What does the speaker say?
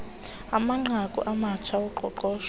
amanqaku amatsha oqoqosho